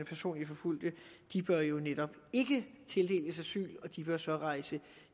personligt forfulgte bør jo netop ikke tildeles asyl og de bør så rejse